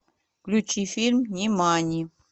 включи фильм нимани